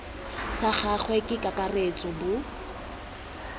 sa gagwe ka kakaretso bo